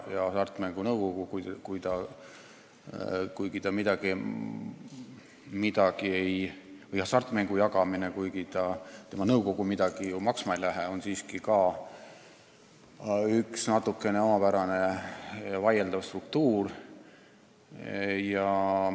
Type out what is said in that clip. Ja Hasartmängumaksu Nõukogu, kuigi ta midagi maksma ei lähe, on siiski ka üks natukene omapärane ja vaieldav struktuur.